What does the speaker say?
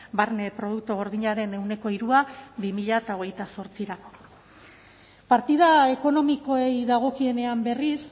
barne produktu gordinaren ehuneko hiru bi mila hogeita zortzirako partida ekonomikoei dagokienean berriz